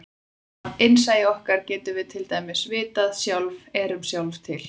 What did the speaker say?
Af innsæi okkar getum við til dæmis vitað að við sjálf erum sjálf til.